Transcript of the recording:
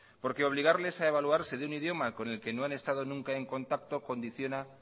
obligarles a evaluarse de un idioma con el que no han estado nunca en contacto condiciona